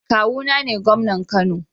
Kawuna ne gomnan Kano